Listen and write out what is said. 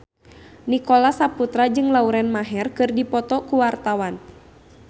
Nicholas Saputra jeung Lauren Maher keur dipoto ku wartawan